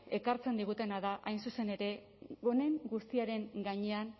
ekartzen digutena da hain zuzen ere honen guztiaren gainean